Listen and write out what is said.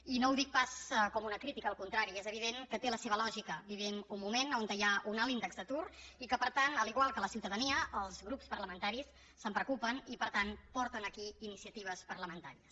i no ho dic pas com una crítica al contrari és evident que té la seva lògica vivim un moment on hi ha un alt índex d’atur i que per tant igual que la ciutadania els grups parlamentaris se’n preocupen i per tant porten aquí iniciatives parlamentàries